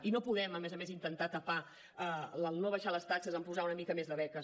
i no podem a més a més intentar tapar no abaixar les taxes amb posar una mica més de beques